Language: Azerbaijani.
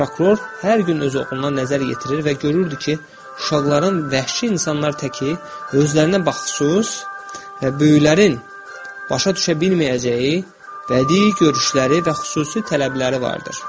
Prokuror hər gün öz oğluna nəzər yetirir və görürdü ki, uşaqların vəhşi insanlar təki özlərinə baxışsız və böyüklərin başa düşə bilməyəcəyi bədii görüşləri və xüsusi tələbləri vardır.